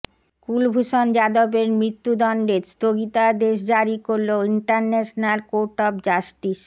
কুলভূষণ যাদবের মৃত্যুদণ্ডে স্থগিতাদেশ জারি করল ইন্টারন্যাশনাল কোর্ট অফ জাস্টিস